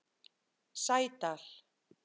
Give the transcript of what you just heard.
Sædal